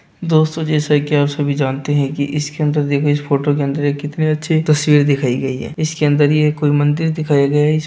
दोस्तों जैसा कि आप सभी जानते है कि इसके अंदर देखो इस फोटो के अंदर एक कितनी अच्छी तस्वीर दिखाई गई है इसके अंदर यह कोई मंदिर दिखाया गया है इसस--